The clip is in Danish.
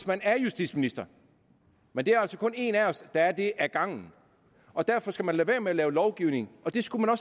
man er justitsminister men det er altså kun en af os der er det ad gangen og derfor skal man lade være med at lave lovgivning og det skulle man